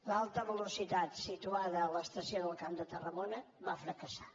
l’alta velocitat situada a l’estació del camp de tarragona va fracassar